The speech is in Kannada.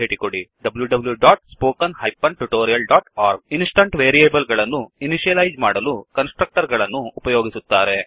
httpwwwspoken tutorialಒರ್ಗ್ ಇನ್ಸ್ಟನ್ಸ್ ವೇರಿಯೇಬಲ್ ಗಳನ್ನು ಇನಿಷಿಯಲೈಜ್ ಮಾಡಲು ಕನ್ಸ್ ಟ್ರಕ್ಟರ್ ಗಳನ್ನು ಉಪಯೋಗಿಸುತ್ತಾರೆ